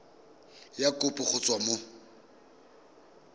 ya kopo go tswa mo